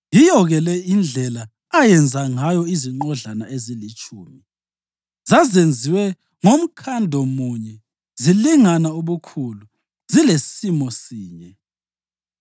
Yiyo-ke le indlela ayenze ngayo izinqodlana ezilitshumi. Zazenziwe ngomkhando munye zilingana ubukhulu zilesimo sinye.